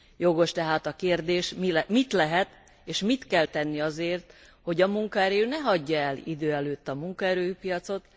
Jogos tehát a kérdés mit lehet, és mit kell tenni azért, hogy a munkaerő ne hagyja el idő előtt a munkaerőpiacot?